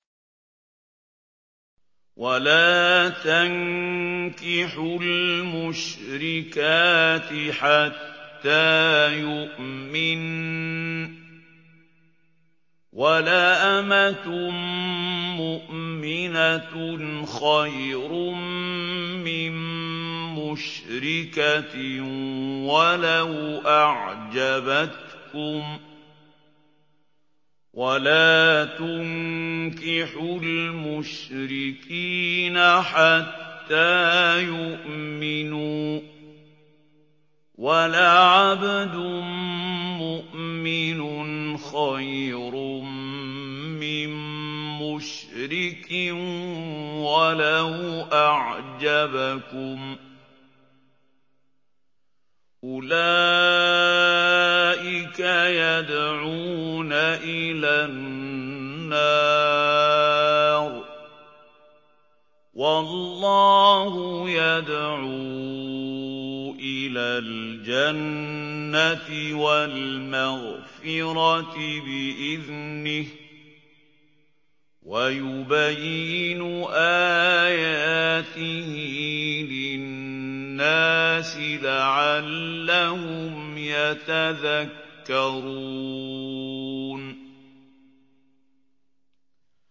وَلَا تَنكِحُوا الْمُشْرِكَاتِ حَتَّىٰ يُؤْمِنَّ ۚ وَلَأَمَةٌ مُّؤْمِنَةٌ خَيْرٌ مِّن مُّشْرِكَةٍ وَلَوْ أَعْجَبَتْكُمْ ۗ وَلَا تُنكِحُوا الْمُشْرِكِينَ حَتَّىٰ يُؤْمِنُوا ۚ وَلَعَبْدٌ مُّؤْمِنٌ خَيْرٌ مِّن مُّشْرِكٍ وَلَوْ أَعْجَبَكُمْ ۗ أُولَٰئِكَ يَدْعُونَ إِلَى النَّارِ ۖ وَاللَّهُ يَدْعُو إِلَى الْجَنَّةِ وَالْمَغْفِرَةِ بِإِذْنِهِ ۖ وَيُبَيِّنُ آيَاتِهِ لِلنَّاسِ لَعَلَّهُمْ يَتَذَكَّرُونَ